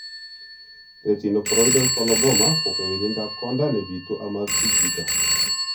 Retinochoroidal coloboma ko kewelindop konda nebitu amakisich chito